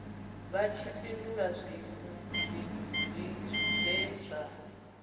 vha tshi fhindula zwe zwa